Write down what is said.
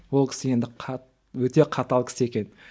ол кісі енді өте қатал кісі екен